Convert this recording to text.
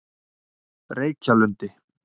Reykjalundi